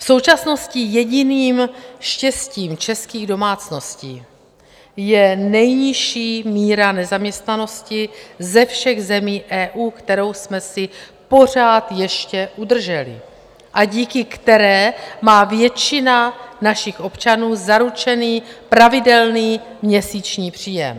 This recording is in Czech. V současnosti jediným štěstím českých domácností je nejnižší míra nezaměstnanosti ze všech zemí EU, kterou jsme si pořád ještě udrželi a díky které má většina našich občanů zaručený pravidelný měsíční příjem.